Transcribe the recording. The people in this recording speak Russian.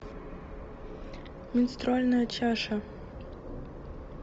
менструальная чаша